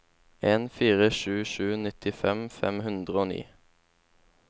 en fire sju sju nittifem fem hundre og ni